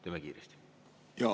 Teeme kiiresti!